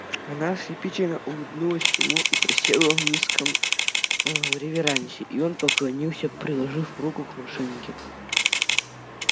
она ослепительно улыбнулась ему и присела в низком ээ реверансе и он поклонился приложив руку к машинке